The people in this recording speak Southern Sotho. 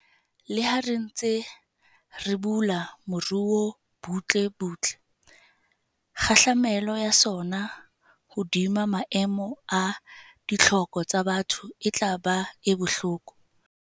Leha re ntse re bula moruo butlebutle, kgahlamelo ya sona hodima maemo a ditlhoko tsa batho e tla ba e bohloko.